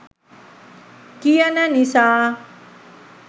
කියන නිසා.